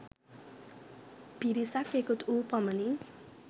පිරිසක් එකතු වූ පමණින්